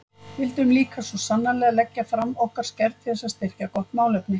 Vildum líka svo sannarlega leggja fram okkar skerf til þess að styrkja gott málefni.